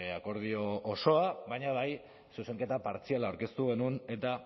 akordio osoa baina bai zuzenketa partziala aurkeztu genuen eta